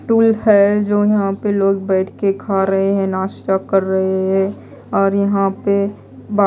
tool है जो यहां पे लोग बैठ के खा रहे हैं नाश्ता कर रहे हैं और यहां पे बा--